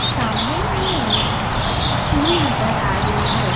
सामने मे एक स्कूल नजर आ रही है।